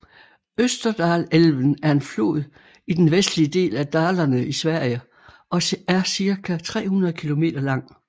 Österdalälven er en flod i den vestlige del af Dalarna i Sverige og er cirka 300 km lang